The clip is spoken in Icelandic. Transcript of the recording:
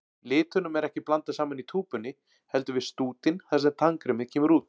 Litunum er ekki blandað saman í túpunni, heldur við stútinn þar sem tannkremið kemur út.